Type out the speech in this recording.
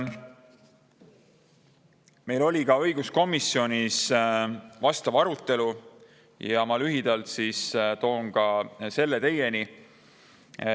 Meil oli ka õiguskomisjonis vastav arutelu ja ma lühidalt toon selle teieni.